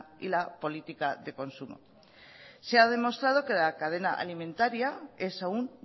y la política de consumo se ha demostrado que la cadena alimentaria es aún